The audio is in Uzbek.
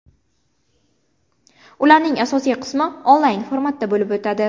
Ularning asosiy qismi onlayn formatda bo‘lib o‘tadi.